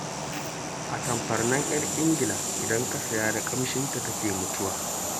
Atamfar nan 'yar Ingila idan ka saya, da ƙamshinta take mutuwa